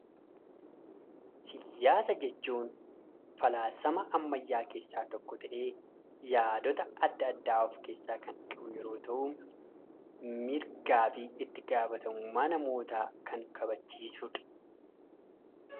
Siyaasa jechuun falaasama ammayyaa keessaa tokko ta'ee, yaadota adda addaa of keessaa kan qabu yeroo ta'u, mirgaa fi itti gaafatamummaa namootaa kan kabachiisudha.